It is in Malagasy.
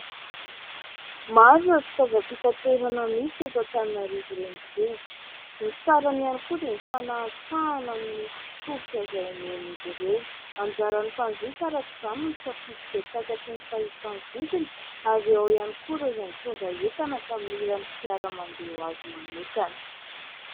Maro ireo fitaovam-pitanterana misy eto Antananarivo Renivohitra, ny sarany ihany koa dia mifanahantsahana amin'ny tolotra izay omen'izy ireo. Anjaran'ny mpanjifa araka izany no misafidy izay takatry ny fahefa-mividiny ary ao ihany koa ireo izay mitondra entana ka mila ny fiara mandeha ho azy manokana.